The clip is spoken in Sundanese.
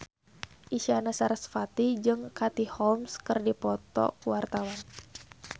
Isyana Sarasvati jeung Katie Holmes keur dipoto ku wartawan